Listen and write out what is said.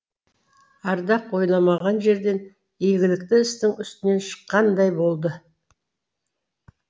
ардақ ойламаған жерден игілікті істің үстінен шыққандай болды